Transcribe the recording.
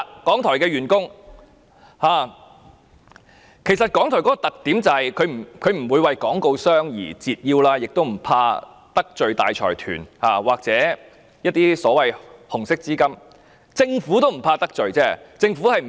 港台的特點就是不會向廣告商折腰，亦不怕得罪大財團或一些所謂紅色資金，連政府也不怕得罪。